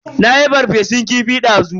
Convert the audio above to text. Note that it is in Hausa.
Nayi ferfesun kifi dazu.